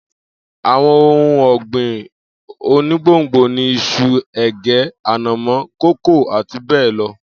Àwo̩n ohun ò̩gbìn onígbòngbò ni is̩u, è̩gé̩, ànàmó, kókò, àti bé̩è̩ lo̩